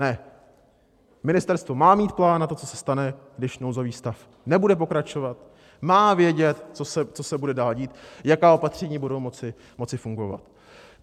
Ne, ministerstvo má mít plán na to, co se stane, když nouzový stav nebude pokračovat, má vědět, co se bude dál dít, jaká opatření budou moci fungovat.